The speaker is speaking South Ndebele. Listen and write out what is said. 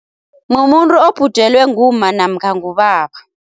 Mumuntu obhujelwe ngumma namkha ngubaba.